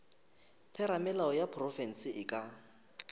theramelao ya profense e ka